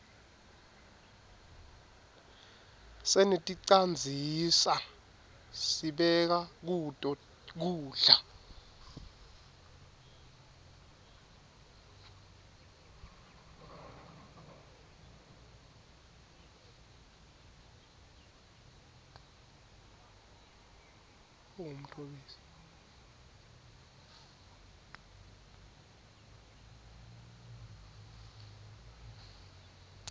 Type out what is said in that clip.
seneticandzisa sibeka kuto kudla